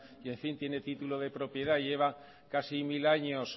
y en fin tiene título de propiedad lleva casi mil años